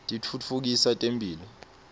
titfutfukisa temphilo